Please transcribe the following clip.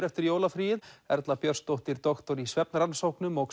eftir jólafríið Erla Björnsdóttir doktor í svefnrannsóknum og